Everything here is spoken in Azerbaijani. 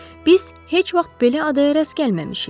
Biz heç vaxt belə adaya rast gəlməmişik.